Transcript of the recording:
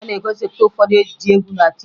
A na-egosipụta ụfọdụ ejije egwu na tieta